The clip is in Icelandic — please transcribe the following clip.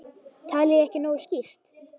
Talaði ég ekki nógu skýrt?